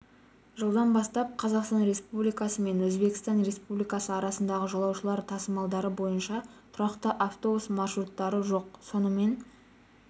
жылдан бастап қазақстан республикасы мен өзбекстан республикасы арасында жолаушылар тасымалдары бойынша тұрақты автобус маршруттары жоқ сонымен